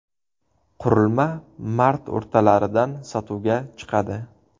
Qurilma mart o‘rtalaridan sotuvga chiqadi.